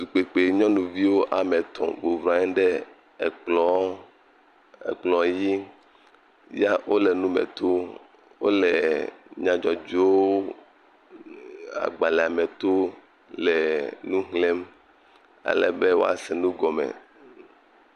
Tukpekpe nyɔuvi ame etɔ̃ womlɔ anyi ɖe ekplɔ dzi ya wo le nu me tom. Wo le nyadzɔdzɔwo e agbale me tom le nu xlem ale be woase nu gɔme.